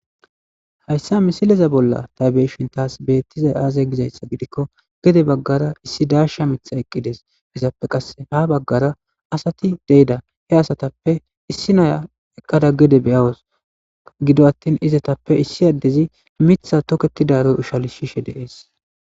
Hayssa misileza bolla taybeeshin taas beettiza aaze gizayssa gidikko gede baggara issi darsha mitha eqqides izappe qasse ha baggara asati deyda he asatappe issi naya eqqada gede beyawos gido attin izatappe issi addezi mitha toketidaroy ushali shishe deees.